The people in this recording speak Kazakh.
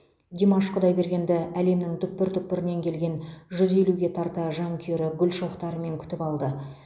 димаш құдайбергенді әлемнің түкпір түкпірінен келген жүз елуге тарта жанкүйері гүл шоқтарымен күтіп алды